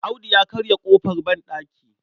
Audu ya karya ƙofar banɗaki.